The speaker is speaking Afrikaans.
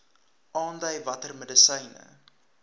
aandui watter medisyne